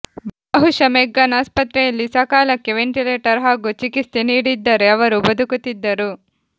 ಬಹುಶಃ ಮೆಗ್ಗಾನ್ ಆಸ್ಪತ್ರೆಯಲ್ಲಿ ಸಕಾಲಕ್ಕೆ ವೆಂಟಿಲೇಟರ್ ಹಾಗೂ ಚಿಕಿತ್ಸೆ ನೀಡಿದ್ದರೆ ಅವರು ಬದುಕುತ್ತಿದ್ದರು